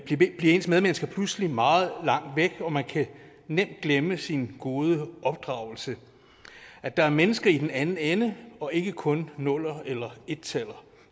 ens medmennesker pludselig meget langt væk og man kan nemt glemme sin gode opdragelse og at der er mennesker i den anden ende og ikke kun nuller eller ettaller